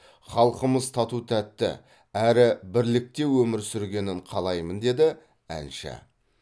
халқымыз тату тәтті әрі бірлікте өмір сүргенін қалаймын деді әнші